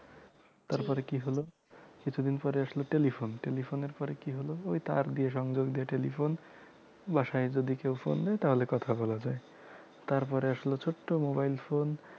তারপরে কি হল কিছুদিন পরে আসল telephone telephone এর পরে কি হল ওই তার দিয়ে সংযোগ দিয়ে telephone বাসায় যদি কেউ phone দেয় তাহলে কথা বলা যায় তারপরে আসলো ছোট্ট mobile phone